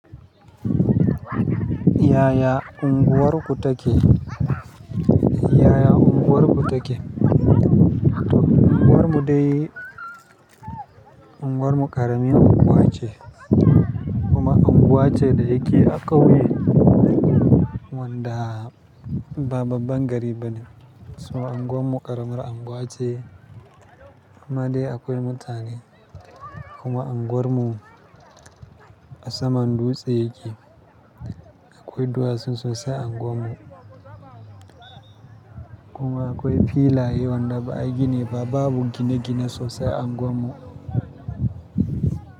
Yaya unguwarku take? Yaya unguwarku take? Unguwar mu dai unguwar mu ƙaramin unguwa ce, kuma unguwa ce da yake a ƙauye wanda ba babban gari ba ne. Saboda unguwar mu ƙaramar unguwa ce, amma dai akwai mutane kuma unguwarmu a saman dutse yake. Akwai duwatsu sosai a unguwar mu, kuma akwai filaye wanda ba a yi gini ba babu gine-gine sosai a unguwar mu.